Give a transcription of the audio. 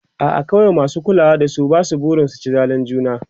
a'a akwai masu kulawa da su Basu barin su ci zalin juna